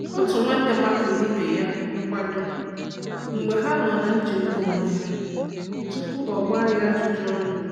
Otu nwanne makụrụ ibe ya nkwado mgbe ha nọ na-echegbu onwe ha tupu a gbaa ya ajụjụ ọnụ.